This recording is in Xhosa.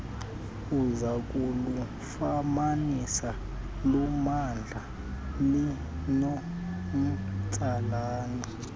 uzakulufumanisa lunomdla linomtsalane